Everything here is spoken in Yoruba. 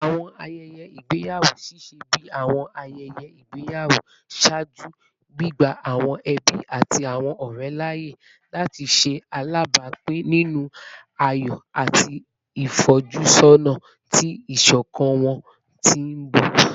Awọn ayẹyẹ igbeyawo ṣiṣẹ bi awọn ayẹyẹ igbeyawo ṣaaju, gbigba awọn ẹbi ati awọn ọrẹ laaye lati ṣe alabapin ninu ayọ ati ifojusona ti iṣọkan wọn ti n bọ